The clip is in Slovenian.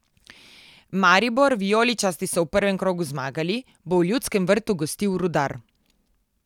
Maribor, vijoličasti so v prvem krogu zmagali, bo v Ljudskem vrtu gostil Rudar.